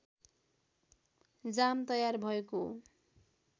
जाम तयार भएको